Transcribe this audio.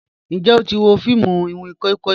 Njẹ o ti wo fiimu iwin koi koi?